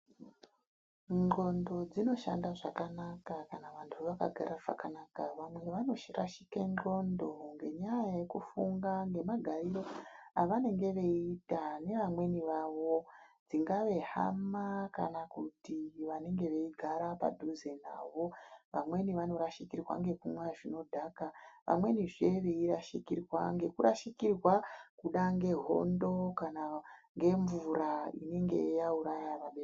Nxondo dzinoshanda zvakanaka kana vantu vakagara zvakanaka .Vamweni vanosirashike nxondo ngenyaya yekufunga ngemagariro avanenge veiita neamweni vavo dzingava hama kana vavanogara padhuze nawo .Vamweni vanorashika ngenyaya yekumwa zvinodhaka, vamwenizve veirashikirwa ngekurashikirwa kuda ngehondo kana ngemvura inenge yauraya vabereki .